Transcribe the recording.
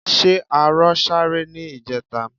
Ṣé arọ sáré ní ìjẹta?